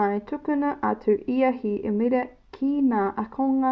i tukuna atu e ia he īmera ki ngā ākonga